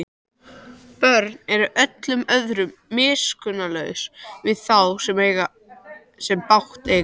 Börn eru öllum öðrum miskunnarlausari við þá sem bágt eiga.